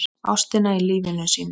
Ástina í lífi sínu.